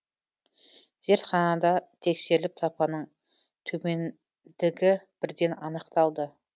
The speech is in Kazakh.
зертханада тексеріліп сапаның төмендігі бірден анықталды